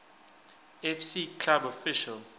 fc club official